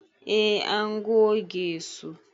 E, an goge su.